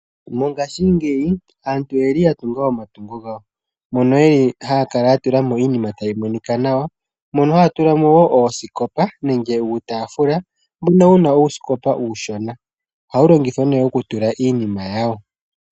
Mongashingeyi aantu oyeli ya tunga omatungo gawo, mono yeli haya kala ya tula mo iinima tayi monika nawa, mono haya tula mo wo oosikopa nenge uutaafula mbono wu na uusikopa uushona. Ohawu longithwa unene okutula iinima yawo.